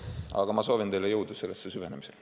Aga ma soovin teile jõudu sellesse süvenemisel.